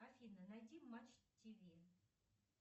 афина найди матч тв